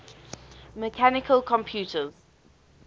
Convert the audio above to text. mechanical computers